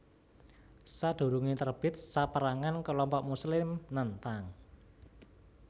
Sadurunge terbit saperangan kelompok Muslim nentang